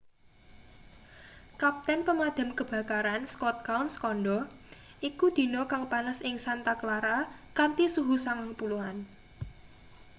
kapten pemadam kebakaran scott kouns kandha iku dina kang panas ing santa clara kanthi suhu 90-an